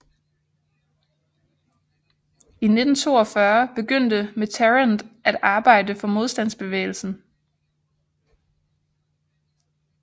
I 1942 begyndte Mitterrand at arbejde for modstandsbevægelsen